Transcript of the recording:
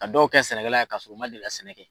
Ka dɔw kɛ sɛnɛkɛla ye k'a sɔrɔ u ma deli ka sɛnɛ kɛ.